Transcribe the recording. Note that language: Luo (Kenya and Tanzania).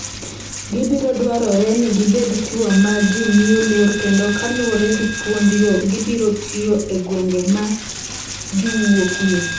Gibiro dwarore ni gibed chwo ma ji miyo luor kendo kaluwore gi puonjgo gibiro tiyo e gwenge ma giwuokie.